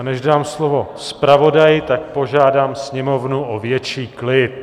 A než dám slovo zpravodaji, tak požádám sněmovnu o větší klid.